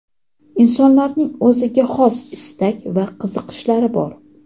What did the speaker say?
Insonlarning o‘ziga xos istak va qiziqishlari bor.